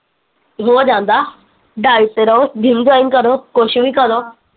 ਹੋ ਜਾਂਦਾ diet ਤੇ ਰਹੋ gym join ਕਰੋ ਕੁਸ਼ ਵੀ ਕਰੋ